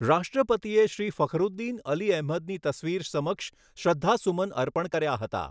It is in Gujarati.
રાષ્ટ્રપતિએ શ્રી ફખરુદ્દીન અલી અહેમદની તસવીર સમક્ષ શ્રદ્ધાસુમન અર્પણ કર્યા હતા.